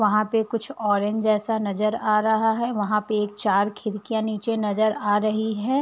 वहाँ पे कुछ ऑरेंज जैसा नजर आ रहा है। वहाँ पे एक चार खिड़कियाँ नीचे नजर आ रही हैं।